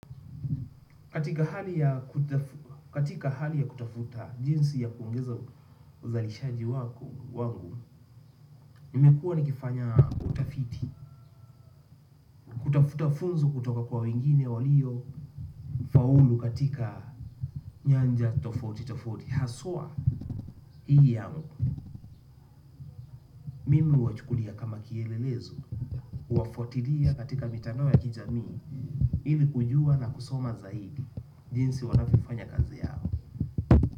Katika hali ya kutafuta jinsi ya kuongeza uzalishaji wangu. Nimekuwa nikifanya utafiti. Kutafuta funzo kutoka kwa wengine walio faulu katika nyanja tofauti tofauti, haswa, hii yangu mimi huwachukulia kama kielelezo huwafuatilia katika mitandao ya kijamii, ili kujua na kusoma zaidi, jinsi wanavyofanya kazi yao.